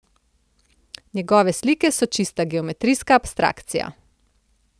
Njegove slike so čista geometrijska abstrakcija.